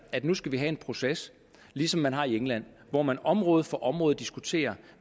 at vi nu skal have en proces ligesom man har det i england hvor man område for område diskuterer